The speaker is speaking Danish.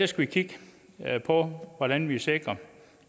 skal kigge på hvordan vi sikrer at